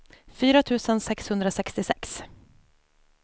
fyra tusen sexhundrasextiosex